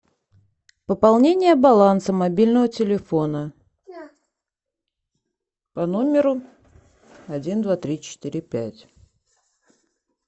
пополнение баланса мобильного телефона по номеру один два три четыре пять